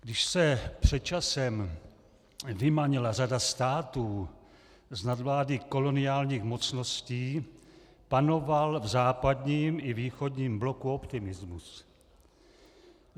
Když se před časem vymanila řada států z nadvlády koloniálních mocností, panoval v západním i východním bloku optimismus.